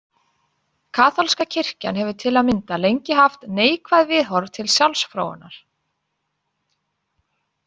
Kaþólska kirkjan hefur til að mynda lengi haft neikvæð viðhorf til sjálfsfróunar.